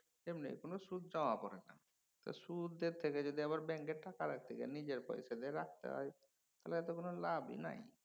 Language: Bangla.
এমনিই কোনও সুদ জমা পরে না। সুদের থেকে যদি আবার ব্যাঙ্কে টাকা রাখতে যাই নিজের পয়সায় যদি রাখতে হয় তাহলে তো কোনও লাভ নাই।